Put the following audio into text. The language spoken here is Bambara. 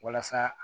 Walasa